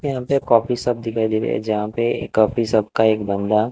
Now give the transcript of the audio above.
यहां पे coffee shop दिखाई दे रहा है जहां पे कॉफी शॉप का एक बंदा--